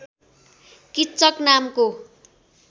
किच्चक नामको